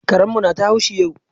Karen mu na ta haushi yau